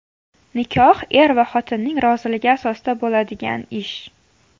Nikoh er va xotinning roziligi asosida bo‘ladigan ish.